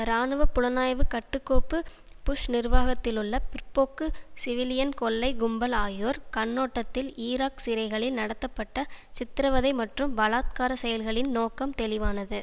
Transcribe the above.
இராணுவ புலனாய்வு கட்டுகோப்பு புஷ் நிர்வாகத்திலுள்ள பிற்போக்கு சிவிலியன் கொள்ளை கும்பல் ஆகியோர் கண்ணோட்டத்தில் ஈராக் சிறைகளில் நடத்தப்பட்ட சித்தரவதை மற்றும் பலாத்காரச் செயல்களின் நோக்கம் தெளிவானது